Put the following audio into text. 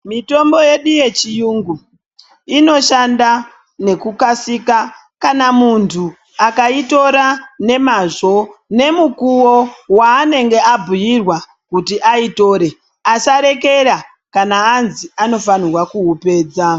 Mitombo yedu yechiyungu inoshanda nekukasika kana muntu akaitora nemazvo nemukuwo waanenge abhuyirwa kuti ayitore asarekera kana anzi anofanirwa kuupedza.